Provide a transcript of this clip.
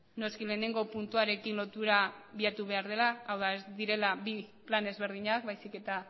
noski batgarrena puntuarekin lotura bilatu behar dela hau da ez direla bi plan ezberdinak baizik eta